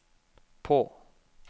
på